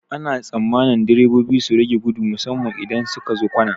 Ana tsammanin direbobi su rage gudu musamman idan sukazo kwana.